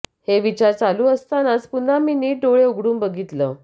हे विचार चालू असतानाच पुन्हा मी नीट डोळे उघडून बघितल